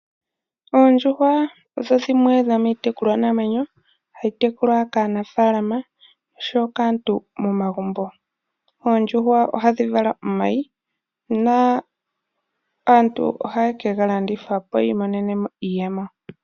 Oondjuhwa odho dhimwe dho miitekulwanamwenyo ha yi tekulwa kaanafaalama osho woo kaantu momagumbo. Oondjuhwa oha dhi vala omayi naAntu oha ye ke galandithapo yi imonene mo iiyemo.